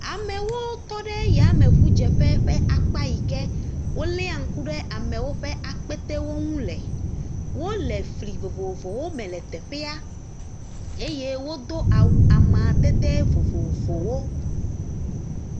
Amewo tɔ ɖe yamŋudzeƒe ƒe akpa yi ke woléa ŋku ɖe amewo ƒe akpetewo ŋu le. Wole fli vovovowo me le teƒea eye wodo awu amadede vovovowo.